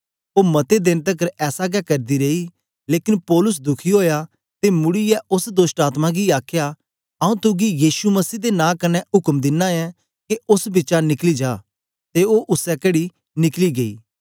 ओ मते देन तकर ऐसा गै करदी रेई लेकन पौलुस दुखी ओया ते मुड़ीयै ओस दोष्टआत्मा गी आखया आंऊँ तुगी यीशु मसीह दे नां कन्ने उक्म दिना ऐं के ओस बिचा निकली जा ते ओ उसै घड़ी निकली गेई